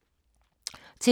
TV 2